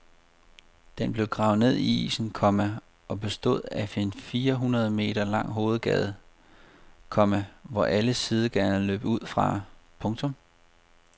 Den blev gravet ned i isen, komma og bestod af en fire hundrede meter lang hovedgade, komma hvor alle sidegaderne løb ud fra. punktum